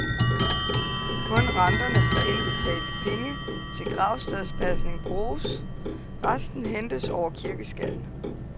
Kun renterne fra indbetalte penge til gravstedspasning bruges, resten hentes over kirkeskatten.